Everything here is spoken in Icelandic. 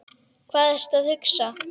Hvað ertu að hugsa?